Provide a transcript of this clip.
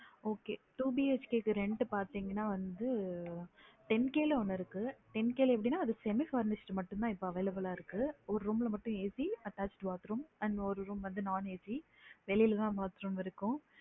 Okay two BHK க்கு வந்து rent பாத்திங்கனா வந்து ten K ல ஒன்னு இருக்கு ten K எப்படினா அது semi furnitured மட்டும் தான் இப்ப available இருக்கு ஒரு room மட்டும் AC attached bathroom ல ஒரு room ல non AC வெளிய தான் bathroom இருக்கும்